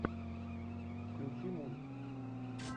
включи мульт